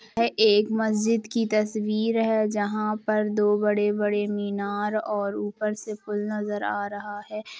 यह एक मस्जिद की तस्वीर है जहाँ पर दो बड़े-बड़े मीनार और ऊपर से पूल नज़र आ रहा है ।